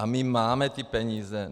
A my máme ty peníze.